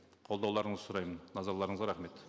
қолдауларыңызды сұраймын назарларыңызға рахмет